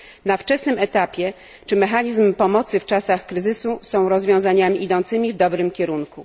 na wczesnym etapie, czy mechanizm pomocy w czasach kryzysu są rozwiązaniami idącymi w dobrym kierunku.